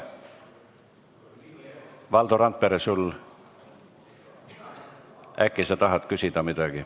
Valdo Randpere, äkki sa tahad midagi küsida?